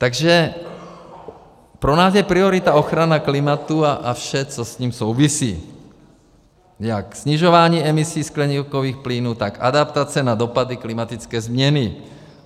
Takže pro nás je priorita ochrana klimatu a vše, co s ním souvisí - jak snižování emisí skleníkových plynů, tak adaptace na dopady klimatické změny.